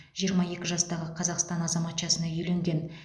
жиырма екі жастағы қазақстан азаматшасына үйленген